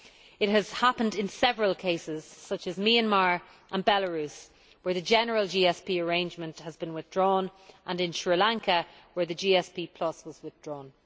It has happened in several cases such as Myanmar and Belarus, where the general GSP arrangement was withdrawn, and in Sri Lanka, where the GSP was withdrawn.